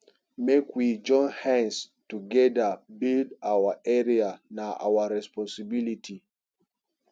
make we join hands togeda build our area na our responsibility